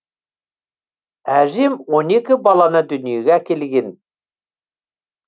әжем он екі баланы дүниеге әкелген